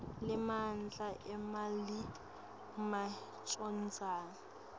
lemandla emmeli macondzana